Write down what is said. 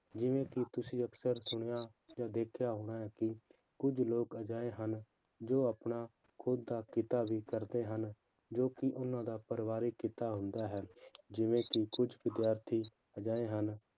ਜਿਵੇਂ ਕਿ ਤੁਸੀਂ ਅਕਸਰ ਸੁਣਿਆ ਜਾਂ ਦੇਖਿਆ ਹੋਣਾ ਹੈ ਕਿ ਕੁੱਝ ਲੋਕ ਅਜਿਹੇ ਹਨ, ਜੋ ਆਪਣਾ ਖੁੱਦ ਦਾ ਕਿੱਤਾ ਵੀ ਕਰਦੇ ਹਨ, ਜੋ ਕਿ ਉਹਨਾਂ ਦਾ ਪਰਿਵਾਰਕ ਕਿੱਤਾ ਹੁੰਦਾ ਹੈ, ਜਿਵੇਂ ਕਿ ਕੁੱਝ ਵਿਦਿਆਰਥੀ ਅਜਿਹੇ ਹਨ,